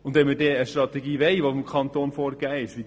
Und wenn wir eine Strategie wollen, die vom Kanton vorgegeben ist: